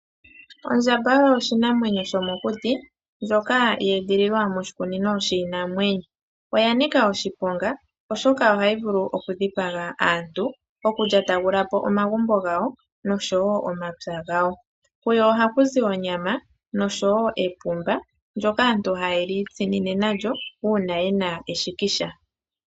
Ondjamba oyo oshinamwenyo shookuti ndjoka ye edhililwa moshikunino, oya nika oshiponga oshoka ohayi vulu okudhipaga aantu, okulyatagulapo omagumbo gawo nosho wo omapya gawo. Puyo oha pu zi onyama nosho wo epumba ndjoka aantu haye li itsinine nalyo uuna eshikisha.